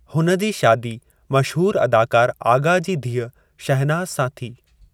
हुन जी शादी मशहूरु अदाकार आग़ा जी धीउ शहनाज़ सां थी।